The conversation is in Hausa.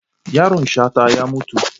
Yaron Shata ya mutu.